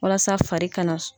Walasa fari ka na.